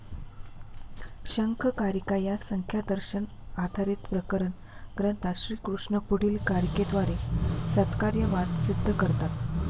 शंख कारिका या संख्या दर्शन आधारित प्रकरण ग्रंथात ईश्वरकृष्ण पुढील कारिकेद्वारे सत्कार्यवाद सिद्ध करतात